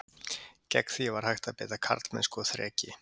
Gegn því var hægt að beita karlmennsku og þreki.